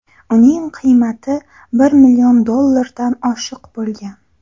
Uning qiymati bir million dollardan oshiq bo‘lgan.